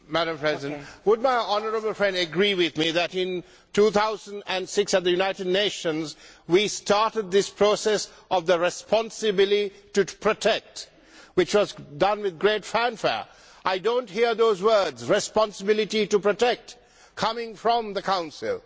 Madam President, would my honourable friend agree with me that, in 2006 at the United Nations, we started this process on the responsibility to protect, which was done to great fanfare? I do not hear the words responsibility to protect' coming from the Council.